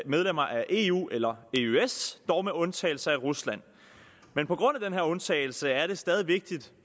medlemmer af eu eller eøs dog med undtagelse af rusland men på grund af den her undtagelse er det stadig vigtigt